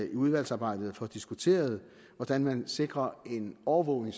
i udvalgsarbejdet får diskuteret hvordan man sikrer en overvågning